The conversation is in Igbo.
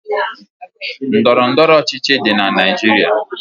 Ndọrọ ndọrọ ọchịchị dị na Naịjirịa.